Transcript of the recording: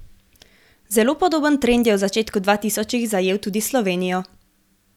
Zelo podoben trend je v začetku dvatisočih zajel tudi Slovenijo.